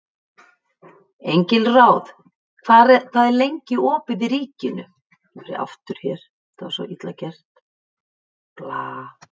Engilráð, hvað er lengi opið í Ríkinu?